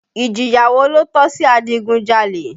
Ìjìyà wo ló tọ́ sí adigunjalè?